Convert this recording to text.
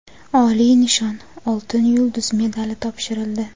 oliy nishon — "Oltin yulduz" medali topshirildi.